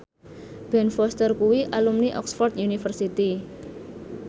Ben Foster kuwi alumni Oxford university